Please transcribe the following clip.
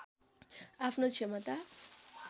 आफ्नो क्षमता